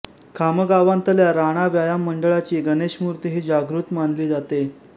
खामगांवातल्या राणा व्यायाम मंडळाची गणेश मूर्ती ही जागृत मानली जाते